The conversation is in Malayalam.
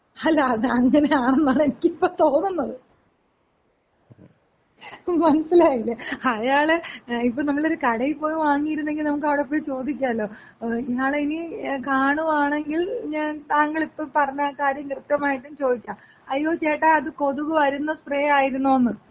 അല്ല, അതങ്ങനെയാണെന്നാണ് എനിക്കിപ്പോ തോന്നുന്നത്. മനസ്സിലായില്ലേ? അയാളെ ഇപ്പൊ നമ്മളൊര് കടയില് പോയി വാങ്ങിയിരുന്നെങ്കി നമുക്ക് അവ്ടെപ്പോയി ചോദിക്കാല്ലോ. ഇയാളെ ഇനി കാണുവാണെങ്കിൽ ഞാൻ താങ്കളിപ്പോ പറഞ്ഞ കാര്യം കൃത്യമായിട്ടും ചോദിക്കാം. "അയ്യോ ചേട്ടാ അത് കൊതുക് വരുന്ന സ്പ്രേ ആയിരുന്നോന്ന്".